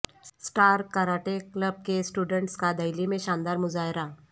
star karate club کے students کا دہلی میں شاندار مظاہرہ